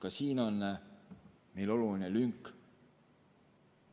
" Ka siin on meil oluline lünk.